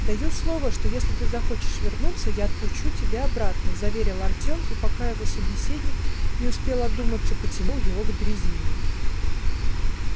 даю слово что если ты захочешь вернуться я отпущу тебя обратно заверил артём и пока его собеседник не успел одуматься потянул его к дрезине